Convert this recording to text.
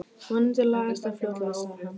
Vonandi lagast það fljótlega sagði hann.